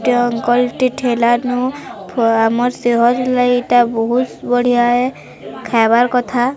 ଟେ ଅଙ୍କଲ ଟେ ଠେଲାନୋ ଆମର ସେଭର୍ ଲାଇଟା ବୋହୁତ ବଢ଼ିଆ ହେ ଖାଇବାର୍ କଥା।